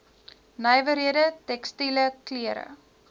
nywerhede tekstiele klere